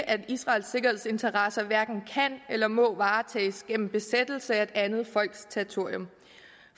at israels sikkerhedsinteresser hverken kan eller må varetages gennem besættelse af et andet folks territorium